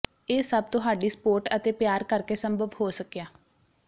ਇਹ ਸਭ ਤੁਹਾਡੀ ਸਪੋਟ ਅਤੇ ਪਿਆਰ ਕਰਕੇ ਸੰਭਵ ਹੋ ਸਕਿਆ